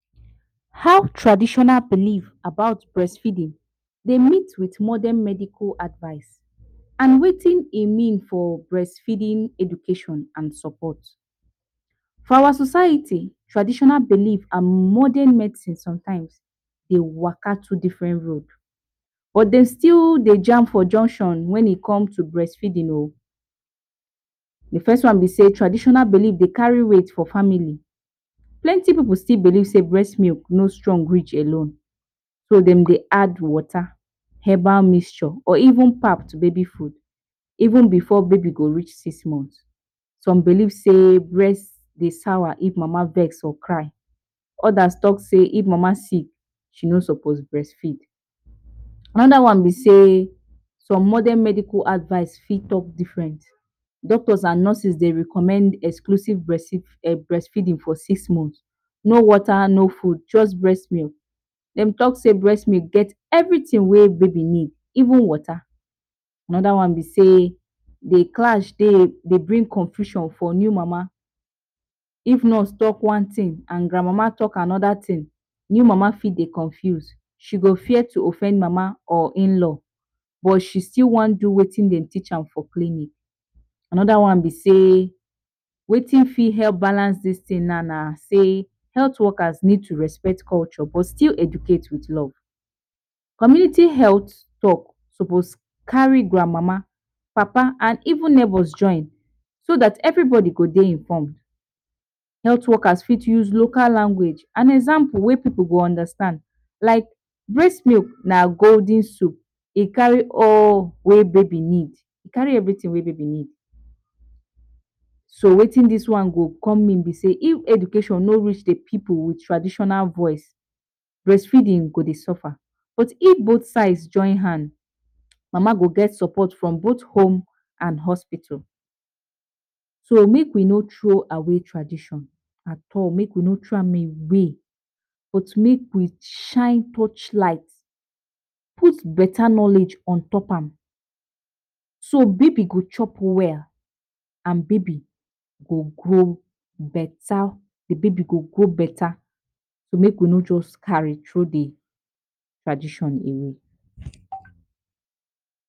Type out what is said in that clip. How traditional believe about breast feeding dey meet with modern medical advice and wetin e mean for breastfeeding education and support. for our society traditional believe and modern medicines sometime dey waka two different road but dem still dey jam for junction wen e come to breast feeding oo, de first one be sey traditional belief de carry weight for family plenty pipu still believe sey breast milk no strong rich alone so dem dey add water or herbal mixture or even pap to baby food even before baby go reach six months, some believe sey breast dey swore if mama vex or cry others talk sey if mama sick she no suppose breast feed. another one be sey some modern medical advice fit talk different doctors and nurses dey recommend exclusive breastfeeding for six months no water no food just breast milk, dem talk sey breast milk get everything whey baby need even water, another one be sey de clash de, dey bring confusion for new mama if nurse talk one thing and grand mama talk another thing, new mama fit dey confuse she go fear to offend mama or in-law but she stil wan do wetin dem teach her for clinic another one be sey wetin fit help balance dis thing na, na sey health workers need to respect culture but still educate with love community health talk suppose carry grand mama, papa and even neighbors join so dat every body go dey inform health workers fit use local language and example whey pipu go understand like breast milk na golden soup e carry all whey babi need e carry everything whey baby need so wetin dis one go come mean b sey if education no reach dey pipu for traditional voice breast feeding go dey suffer but if both side join hand mama go get support for both home and hospital. so make we no throw away tradition at all make we no throw away but make we shine touch light put better knowledge on top am so babi go chop well and babi go grow beta, dey babi go grow beta make we no just carry throw de tradition away